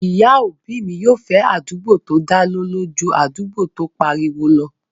Ìyá òbí mi yóò fẹ́ àdúgbò tó dá lọ́lọ́ ju àdúgbò tó n pariwo lọ